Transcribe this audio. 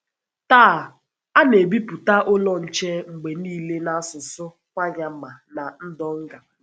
Taa, a na - ebipụta Ụlọ Nche mgbe nile n’asụsụ Kwanyama na Ndonga.